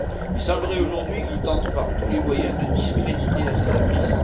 Il semblerait aujourd'hui qu'il tente par tous les moyens de discréditer la sénatrice.